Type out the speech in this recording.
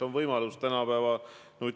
Enne oli seal EKRE esindaja Jaak Madison.